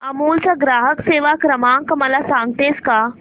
अमूल चा ग्राहक सेवा क्रमांक मला सांगतेस का